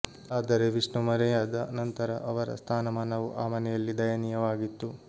ಆದರೆ ವಿಷ್ಣು ಮರೆಯಾದ ನಂತರ ಅವರ ಸ್ಥಾನಮಾನವೂ ಆ ಮನೆಯಲ್ಲಿ ದಯನೀಯವಾಗಿತ್ತು